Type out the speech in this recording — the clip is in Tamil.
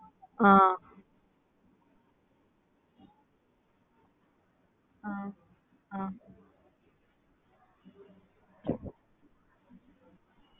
Chicken பிரியாணி இருக்கு, தம் பிரியாணி இருக்கு, சாதா பிரியாணி இருக்கு veg இருக்கு okay mam அப்புறமா வந்து கொத்துபொரோட்டால இருக்கு mam முட்ட கொத்து பொரோட்டா.